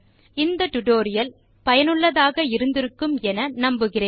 இந்த டுடோரியலை சுவாரசியமாகவும் பயனுள்ளதாகவும் இருந்திருக்கும் என நினைக்கிறோம்